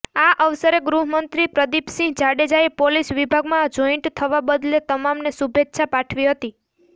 આ અવસરે ગૃહમંત્રી પ્રદિપસિંહ જાડેજાએ પોલીસ વિભાગમા જોઈન્ટ થવા બદલે તમામને શુભેચ્છા પાઠવી હતી